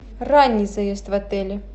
ранний заезд в отеле